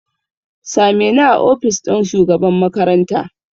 Same ni a ofis ɗin shugaban makaranta!